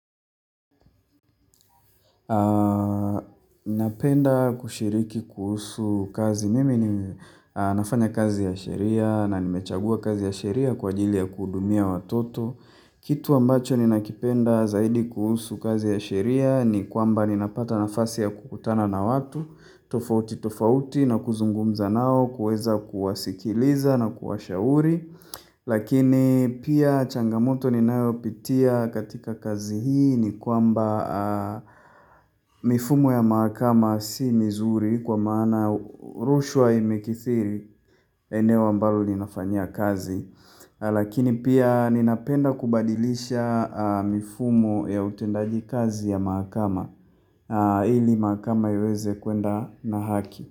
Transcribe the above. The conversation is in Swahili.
Napenda kushiriki kuhusu kazi mimi ni nafanya kazi ya sheria na nimechagua kazi ya sheria kwa ajili ya kuhudumia watoto Kitu ambacho ni nakipenda zaidi kuhusu kazi ya sheria ni kwamba ni napata nafasi ya kukutana na watu tofauti tofauti na kuzungumza nao kuweza kuwasikiliza na kuwashauri Lakini pia changamoto ninayo pitia katika kazi hii ni kwamba mifumo ya maakama si mizuri kwa maana rushwa imekithiri eneo ambalo ninafanyia kazi. Lakini pia ninapenda kubadilisha mifumo ya utendaji kazi ya maakama ili maakama yaweze kuenda na haki.